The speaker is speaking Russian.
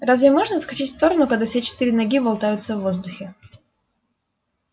разве можно отскочить в сторону когда все четыре ноги болтаются в воздухе